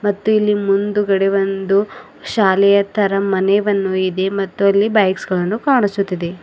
ಮತ್ತು ಇಲ್ಲಿ ಮುಂದ್ಗಡೆ ಒಂದು ಶಾಲೆಯ ತರ ಮನೆ ವನ್ನು ಇದೆ ಮತ್ತು ಅಲ್ಲಿ ಬೈಕ್ಸ್ ಗಳನ್ನು ಕಾಣಿಸುತ್ತಿದೆ.